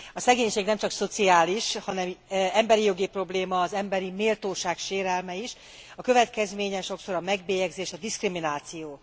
A szegénység nem csak szociális, hanem emberijogi probléma, az emberi méltóság sérelme is. A következménye sokszor a megbélyegzés, a diszkrimináció.